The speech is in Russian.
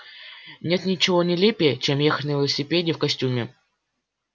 нет ничего нелепее чем ехать на велосипеде в костюме